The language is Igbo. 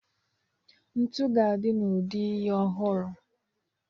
Ntu ga-adị n'ụdị ihe ọhụrụ.